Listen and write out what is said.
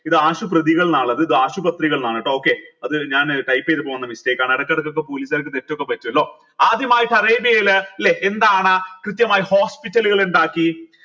ഇത് ആശുപത്രികൾന്ന ഉള്ളത് ഇത് ആശുപത്രികൾ ന്നാണ് ട്ടോ okay അത് ഞാൻ type ചെയ്തു പോണ mistake ആണ് ഇടക്കിടക്ക police കാർക്ക് തെറ്റൊക്കെ പറ്റുവല്ലോ ആദ്യമായിട്ട് അറേബ്യയിൽ ല്ലെ എന്താണ് കൃത്യമായി hospital കൾ ഉണ്ടാക്കി